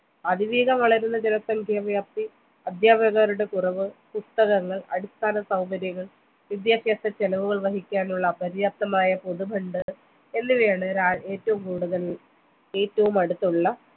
അതിവേഗം വളരുന്ന ജനസംഖ്യ വ്യാപത്തി അദ്ധ്യാപകരുടെ കുറവ് പുസ്തകങ്ങൾ അടിസ്ഥാന സൗകര്യങ്ങൾ വിദ്യാഭ്യാസ ചിലവുകൾ വഹിക്കാനുള്ള പര്യാപ്തമായ പൊതു fund എന്നിവയാണ് രാ ഏറ്റവും കൂടുതൽ ഏറ്റവുമടുത്തുള്ള